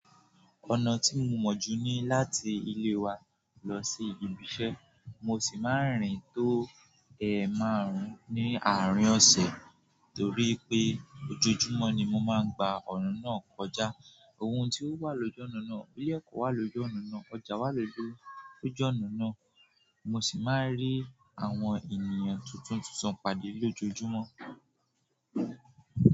Ọ̀nà tí mo mọ̀ ju ní láti ilé wa lọ sí ibi iṣẹ́, mo sì máa ń rìn tó è márùn-ún ní àárín ọ̀sẹ̀ torí pé ojoojúmọ́ ni mo máa ń gba ọ̀na náà kọjá. Ohun tí ó wà lójú ọ̀nà náà, ilé-ẹ̀kọ́ wà lójú ọ̀nà náà, ọjà wà lójú ọ̀nà náà, mo sì máa ń rí àwọn ènìyàn tuntun tuntun pade lójoojúmọ́.